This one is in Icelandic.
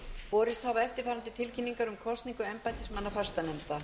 borist hafa eftirfarandi tilkynningar um kosningu embættismanna fastanefnd